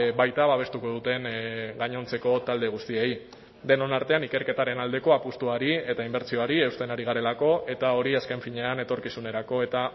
baita babestuko duten gainontzeko talde guztiei denon artean ikerketaren aldeko apustuari eta inbertsioari eusten ari garelako eta hori azken finean etorkizunerako eta